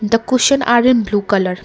the cushion have in blue colour.